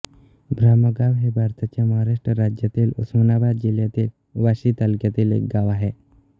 ब्रह्मगाव हे भारताच्या महाराष्ट्र राज्यातील उस्मानाबाद जिल्ह्यातील वाशी तालुक्यातील एक गाव आहे